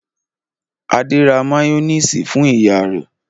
Adé ra máyónísì fún ìyá rẹ̀.